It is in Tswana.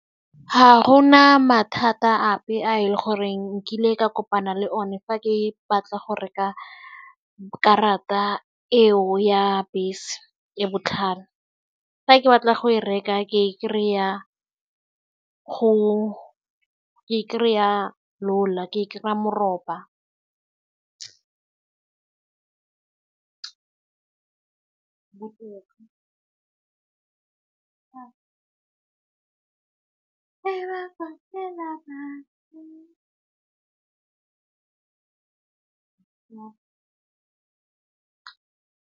Ha go na mathata ape a e le goreng nkile ka kopana le one fa ke batla go reka karata eo ya bese e botlhale, fa ke batla go e reka ke kry-a go ke kry-a ke kry-a moroba .